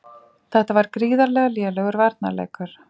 Þetta var gríðarlega lélegur varnarleikur.